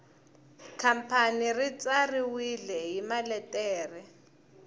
khampani ri tsariwile hi maletere